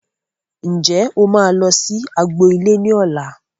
Ǹjẹ́ o máa lọ sí agbo ilé ní ọ̀la